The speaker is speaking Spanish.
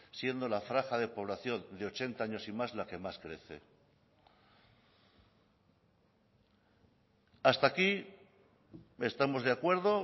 siendo la franja de población de ochenta años y más la que más crece hasta aquí estamos de acuerdo